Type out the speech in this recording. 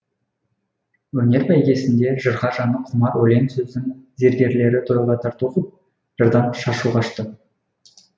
өнер бәйгесінде жырға жаны құмар өлең сөздің зергерлері тойға тарту ғып жырдан шашу шашты